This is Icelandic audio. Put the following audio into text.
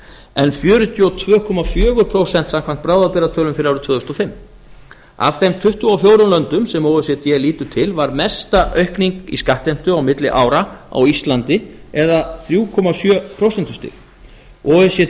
en fjörutíu og tvö komma fjögur prósent samkvæmt bráðabirgðatölum fyrir árið tvö þúsund og fimm af þeim tuttugu og fjórum löndum sem o e c d lítur til var mesta aukning í skattheimtu á milli ára á íslandi eða um þrjú komma sjö prósentustig o e c